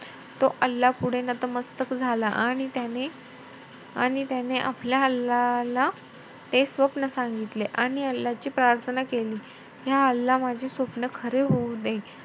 तो अल्लापुढे नतमस्तक झाला. आणि त्याने~ आणि त्याने आपल्या अल्लाला ते स्वप्न सांगितले. आणि अल्लाची प्रार्थना केली माझे स्वप्न खरे होऊ दे.